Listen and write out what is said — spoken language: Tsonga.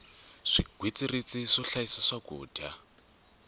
swigwitsirisi swo hlayisa swakudya